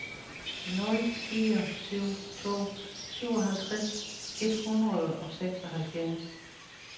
nul fire syv to syvoghalvtreds et hundrede og seksoghalvfjerds